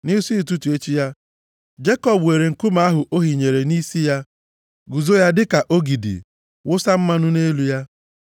Nʼisi ụtụtụ echi ya, Jekọb weere nkume ahụ o hinyere nʼisi ya guzo ya dịka ogidi, wụsa mmanụ nʼelu ya.